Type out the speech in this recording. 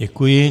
Děkuji.